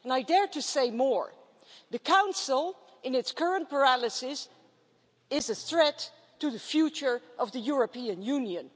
And I dare to say more the Council, in its current paralysis, is a threat to the future of the European Union.